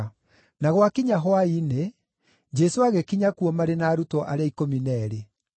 Na gwakinya hwaĩ-inĩ, Jesũ agĩkinya kuo marĩ na arutwo arĩa ikũmi na eerĩ.